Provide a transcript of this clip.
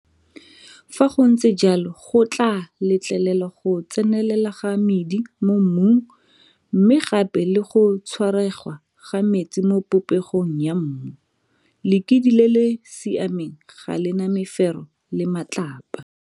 Fa go ntse jalo go tlaa letlelela go tsenelela ga medi mo mmung mme gape le go tshwaregwa ga metsi mo popegong ya mmu. Lekidi le le siameng ga le na mefero le matlapa.